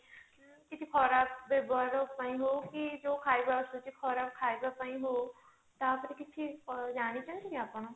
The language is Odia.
ଉଁ କିଛି ଖରାପ ବ୍ୟବହାର ପାଇଁ ହଉ କି ଯଉ ଖାଇବା ଆସୁଛି ଖରାପ ଖାଇବା ପାଇଁ ହଉ ତା ଉପରେ କିଛି ଜାଣିଛନ୍ତି କି ଆପଣ?